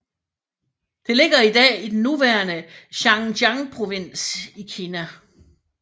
Det ligger i dag i den nuværende Xinjiangprovins i Kina